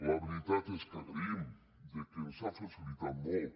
la veritat és que agraïm que ens hagi facilitat molt